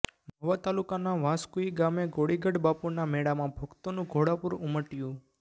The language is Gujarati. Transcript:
મહુવા તાલુકાના વાંસકુઇ ગામે ગોળીગઢ બાપુના મેળામાં ભક્તોનું ઘોડાપૂર ઊમટયું